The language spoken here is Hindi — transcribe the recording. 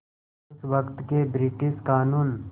उस वक़्त के ब्रिटिश क़ानून